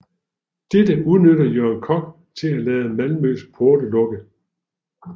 Dette udnyttede Jørgen Kock til at lade Malmøs porte lukke